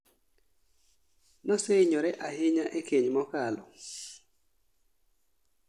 Noseinyore ahinya e keny mokalo